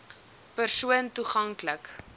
persoon toegank lik